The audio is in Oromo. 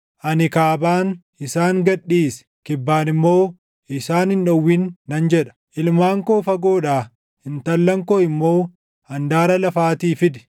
Ani Kaabaan, ‘Isaan gad dhiisi!’ Kibbaan immoo ‘Isaan hin dhowwin’ nan jedha. Ilmaan koo fagoodhaa, intallan koo immoo handaara lafaatii fidi;